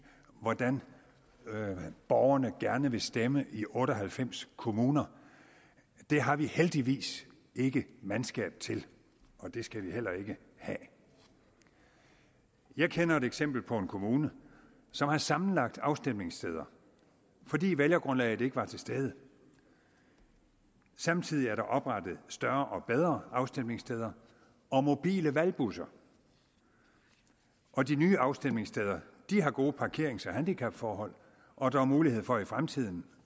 hvordan borgerne gerne vil stemme i otte og halvfems kommuner det har vi heldigvis ikke mandskab til og det skal vi heller ikke have jeg kender et eksempel på en kommune som har sammenlagt afstemningssteder fordi vælgergrundlaget ikke var til stede samtidig er der blevet oprettet større og bedre afstemningssteder og mobile valgbusser og de nye afstemningssteder har gode parkerings og handicapforhold og der er mulighed for i fremtiden